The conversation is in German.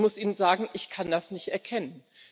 Ich muss Ihnen sagen, ich kann das nicht erkennen.